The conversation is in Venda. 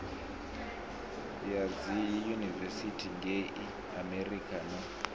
ya dziyunivesithi ngei amerika no